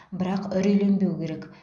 бірақ үрейленбеу керек